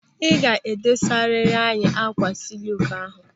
Ị ga-edosariri anyị ákwà sịluku ahụ.